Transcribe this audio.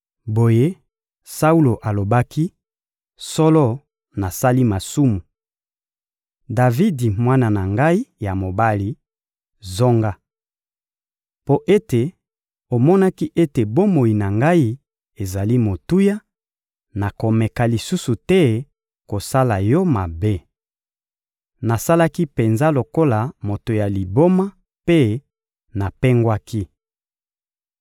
Boye Saulo alobaki: — Solo, nasali masumu! Davidi, mwana na ngai ya mobali, zonga! Mpo ete omonaki ete bomoi na ngai ezali motuya, nakomeka lisusu te kosala yo mabe. Nasalaki penza lokola moto ya liboma mpe napengwaki.